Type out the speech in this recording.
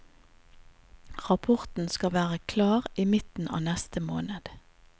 Rapporten skal være klar i midten av neste måned.